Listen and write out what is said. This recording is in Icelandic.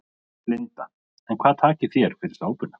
Linda: En hvað takið þér fyrir sápuna?